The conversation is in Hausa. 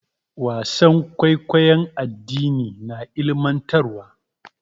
Wasan kwaikwayon addini na ilimantarwa.